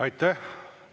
Aitäh!